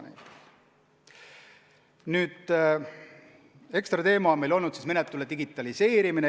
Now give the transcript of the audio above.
Nüüd, ekstra teema on meil olnud menetluse digitaliseerimine.